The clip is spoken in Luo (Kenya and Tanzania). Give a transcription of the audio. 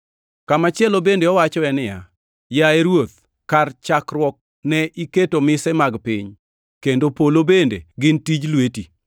Kamachielo bende owachoe niya, “Yaye Ruoth, kar chakruok ne iketo mise mag piny kendo polo bende gin tij lweti.